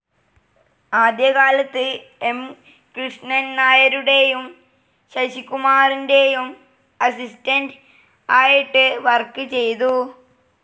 ആദ്യ കാലത്ത് എം കൃഷ്ണൻ നായരുടെയും ശശികുമാറിൻ്റെയും അസിസ്റ്റന്റ്‌ ആയിട്ട് വർക്ക്‌ ചെയ്തു.